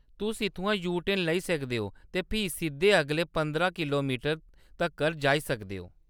तुस इत्थुआं यू-टर्न लेई सकदे ओ ते फ्ही सिद्धे अगले पंदरां किलोमीटर तक्कर जाई सकदे ओ।